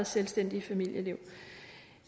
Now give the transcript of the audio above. selvstændigt familieliv